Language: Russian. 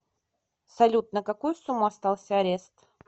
салют на какую сумму остался арест